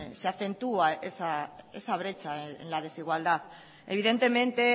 se acentúa esa brecha en la desigualdad evidentemente